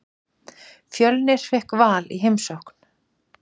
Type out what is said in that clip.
Fjölnir fékk Val í heimsókn.